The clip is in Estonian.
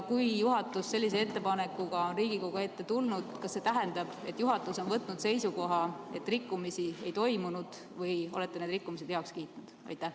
Kui juhatus on sellise ettepanekuga Riigikogu ette tulnud, siis kas see tähendab, et juhatus on võtnud seisukoha, et rikkumisi ei toimunud, või olete need rikkumised heaks kiitnud?